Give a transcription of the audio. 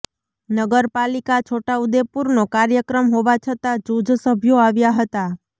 નગરાપાલિકા છોટાઉદેપુરનો કાર્યક્રમ હોવા છતાં જુજ સભ્યો આવ્યા હતા